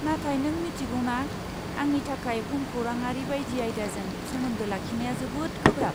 नाथाय नों मिथिगौ ना, आंनि थाखाय भुमखौराङारि बायदि आयदाजों सोमोन्दो लाखिनाया जोबोद गोब्राब।